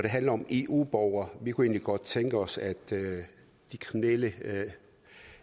handler om eu borgere kunne vi egentlig godt tænke os at de kriminelle